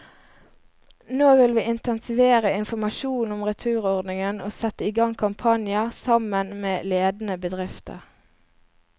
Nå vil vi intensivere informasjonen om returordningen og sette i gang kampanjer, sammen med ledende bedrifter.